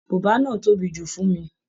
Bùbá náà tóbi jù fún mi.